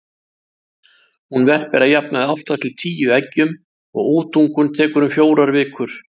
Hún verpir að jafnaði átta til tíu eggjum og útungun tekur um fjórar vikur.